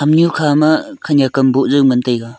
nyeu khama khanyak am boh zao ngan taega.